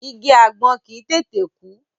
Igi àgbọn kì í tètè kú.